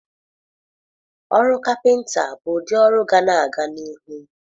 Ọrụ kapịnta bụ ụdị ọrụ ga-ana aga n'ihu.